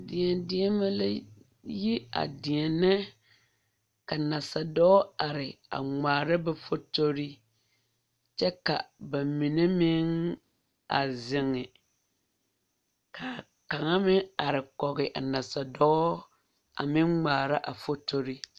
Deɛdeɛnemɛ la yi a deɛnɛ ka nasadɔɔ a are a ŋmaara ba fotori kyɛ ka ba mine meŋ a zeŋe ka kaŋa meŋ are kɔge a nasadɔɔ a meŋ ŋmaara a fotori.